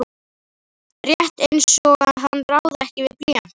Rétt einsog hann ráði ekki við blýantinn.